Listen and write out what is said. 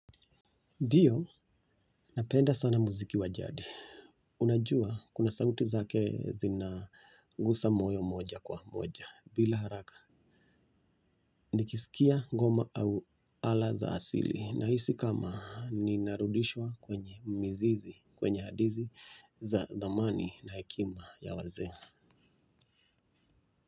Ndio, napenda sana muziki wajadi. Unajua, kuna sauti zake zina gusa moyo moja kwa moja, bila haraka. Nikisikia goma au ala za asili, na hisi kama ni narudishwa kwenye mizizi, kwenye hadithi za thamani na hekima ya wazee.